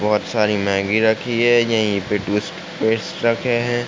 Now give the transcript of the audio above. बहोत सारी मैंगी रखी हैं। यही पे टुवीसपेस्ट रखे हैं।